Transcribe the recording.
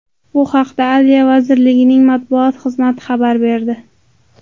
Bu haqda Adliya vaziriligi matbuot xizmati xabar berdi .